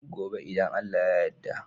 Gobe idan Allah ya yarda